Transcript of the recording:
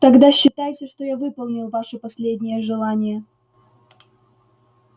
тогда считайте что я выполнил ваше последнее желание